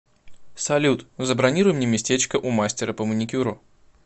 салют забронируй мне местечко у мастера по маникюру